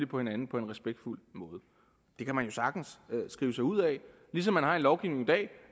på hinanden på en respektfuld måde det kan man jo sagtens skrive sig ud af ligesom man har en lovgivning i dag